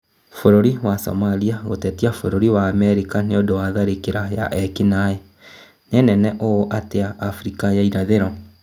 Bũrũri wa Somalia gũtetia bũrũri wa Amerika nĩũndũ wa tharĩkĩro ya ekinaĩ, nĩ nene ũũ atĩa Afrika ya irathĩro?